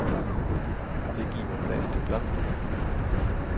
Det giver plads til blomsterne.